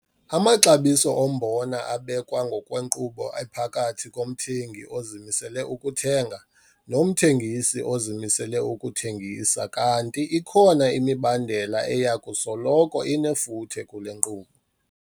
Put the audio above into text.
Amaxabiso ombona abekwa ngokwenkqubo ephakathi komthengi ozimisele ukuthenga nomthengisi ozimisele ukuthengisa kanti ikhona imibandela eya kusoloko inefuthe kule nkqubo.